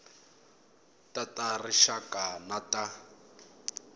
ta ta rixaka na ta